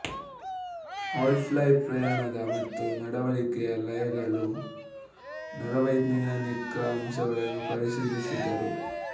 ಹಾಲ್ fly ಪ್ರಣಯದ ಮತ್ತು ನಡವಳಿಕೆಯ ಲಯಗಳ ನರವೈಜ್ಞಾನಿಕ ಅಂಶವನ್ನು ಪರಿಶೀಲಿಸಿದರು